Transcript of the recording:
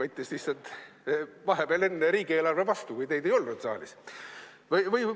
võttis lihtsalt vahepeal enne riigieelarve vastu, kui neid saalis ei olnud.